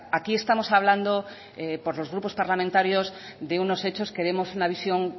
aquí estamos hablando por los grupos parlamentarios de unos hechos queremos una visión